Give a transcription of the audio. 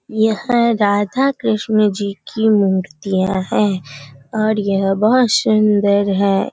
यहाँ राधा कृष्ण जी की मूर्तियां है और यह बहोत सुंदर है।